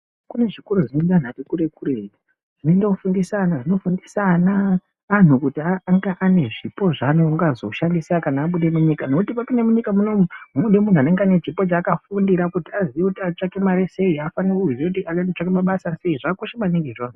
Kunezvikoro zvino enda vanhu vakati kure kure zvinoendo fundisa ana zvinofundisa ana anhu kuti anga ange ane zvipo zvaanga zoshandisa kana apinda munyika nekuti wapinde munyika munomu munoda muntu anenge akafundira kuti anotsvake mari sei anofanirwa kuziva kuti anotsvaka mabasa sei zvakakosha maningi izvozvo.